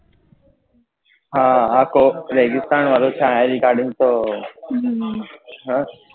હા આખો રેગીસ્તાન વાળો તો